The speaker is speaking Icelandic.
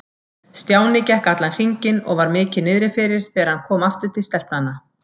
Stjáni gekk allan hringinn og var mikið niðri fyrir þegar hann kom aftur til stelpnanna.